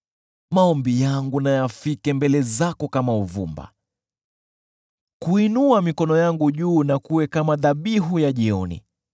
Maombi yangu na yafike mbele zako kama uvumba; kuinua mikono yangu juu na kuwe kama dhabihu ya jioni.